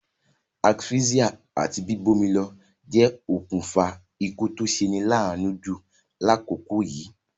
Asphyxia àti bíbómilo je okùnfa ikú to seni laanu ju lákòkò yìí